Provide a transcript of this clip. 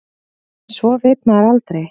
En svo veit maður aldrei.